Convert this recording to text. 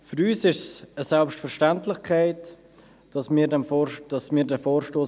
Für uns ist es eine Selbstverständlichkeit, diesen Vorstoss zu unterstützen.